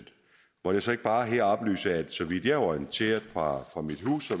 må jeg så ikke bare her oplyse at så vidt jeg er orienteret fra